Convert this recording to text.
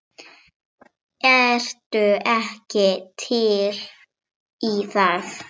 Ertu ekki til í það?